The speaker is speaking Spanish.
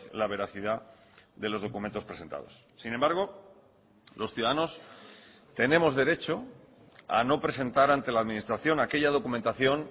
la veracidad de los documentos presentados sin embargo los ciudadanos tenemos derecho a no presentar ante la administración aquella documentación